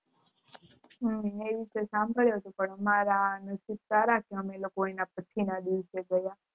હમ એ તો સાભળ્યું હતું મેં પણ અમારાં નસીબ સારા છે અમે લોકો અન પછી ના દિવસે ગયા હતા